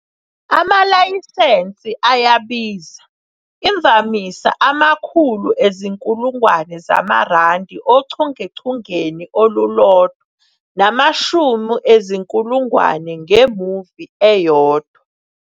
Amalayisense ayabiza, imvamisa amakhulu ezinkulungwane zamaRandi ochungechungeni olulodwa namashumi ezinkulungwane nge-movie eyodwa.